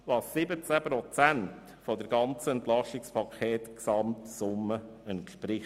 Das entspricht 17 Prozent der Gesamtsumme des EP.